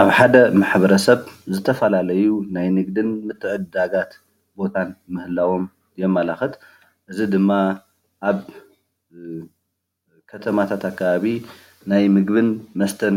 ኣብ ሓደ ማሕበረሰብ ዝተፈላለዩ ናይ ንግድን ምትዕድዳጋት ቦታን ምህላዎም የመላክት። እዚ ድማ ኣብ ከተማታት ኣከባቢ ናይ ምግብን መስተን